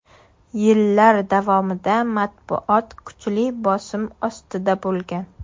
Yillar davomida matbuot kuchli bosim ostida bo‘lgan.